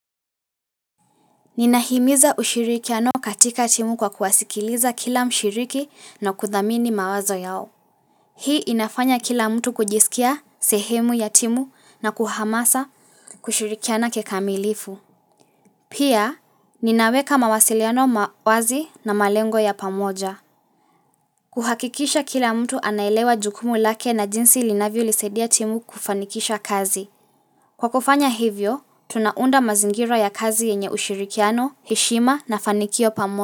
Ninahimiza ushirikiano katika timu kwa kuwasikiliza kila mshiriki na kuthamini mawazo yao. Hii inafanya kila mtu kujisikia sehemu ya timu na kuhamasa kushirikiana kikamilifu. Pia, ninaweka mawasiliano mawazi na malengo ya pamoja. Kuhakikisha kila mtu anaelewa jukumu lake na jinsi linavyo lisedia timu kufanikisha kazi. Kwa kufanya hivyo, tunaunda mazingira ya kazi yenye ushirikiano, heshima na fanikio pamo.